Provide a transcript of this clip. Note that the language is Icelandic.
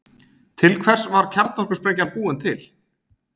Til hvers var kjarnorkusprengjan búin til?